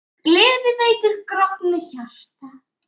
Gleði veitir grátnu hjarta.